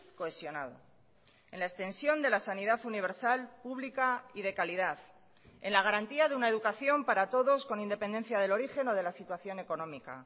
cohesionado en la extensión de la sanidad universal pública y de calidad en la garantía de una educación para todos con independencia del origen o de la situación económica